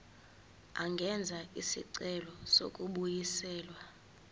angenza isicelo sokubuyiselwa